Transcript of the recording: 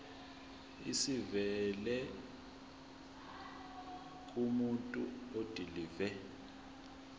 esivela kumuntu odilive